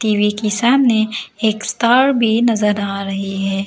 TV के सामने एक स्टार भी नजर आ रही है।